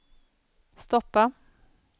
stoppa